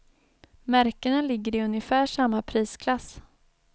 Märkena ligger i ungefär samma prisklass.